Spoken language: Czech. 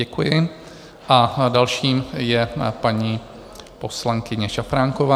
Děkuji a další je paní poslankyně Šafránková.